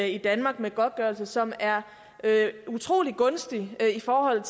i danmark med godtgørelse som er utrolig gunstig i forhold